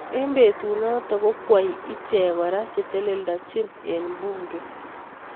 Eng betut notok kokweei I check kora cheteledachim eng bunge.